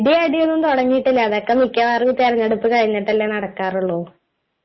ഇടിയും അടിയും ഒന്നും തുടങ്ങിയിട്ടില്ല. അതൊക്കെ മിക്കവാറും തിരഞ്ഞെടുപ്പ് കഴിഞ്ഞിട്ടല്ലേ നടക്കാറുള്ളൂ